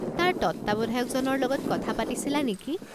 তাৰ তত্ত্বাৱধায়কজনৰ লগত কথা পাতিছিলা নেকি?